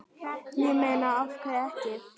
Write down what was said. Ég meina af hverju ekki?